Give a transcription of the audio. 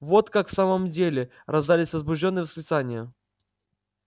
вот как в самом деле раздались возбуждённые восклицания